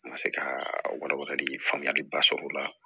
N ka se ka walawalali faamuyaliba sɔrɔ o la